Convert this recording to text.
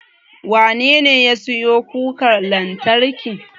Wanene ya siyo kukar lantarkin?